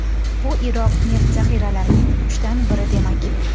Bu Iroq neft zaxiralarining uchdan biri demak.